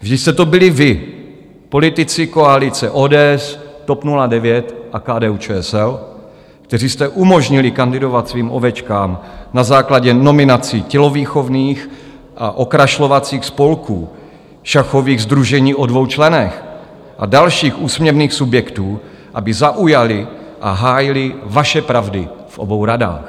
Vždyť jste to byli vy, politici koalice ODS TOP 09 a KDU-ČSL, kteří jste umožnili kandidovat svým ovečkám na základě nominací tělovýchovných a okrašlovacích spolků, šachových sdružení o dvou členech a dalších úsměvných subjektů, aby zaujali a hájili vaše pravdy v obou radách.